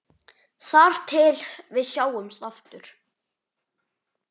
Þar til við sjáumst aftur.